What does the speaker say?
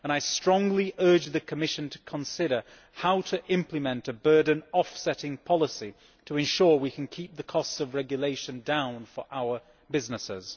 I strongly urge the Commission to consider how to implement a burden offsetting policy to ensure we can keep the costs of regulation down for our businesses.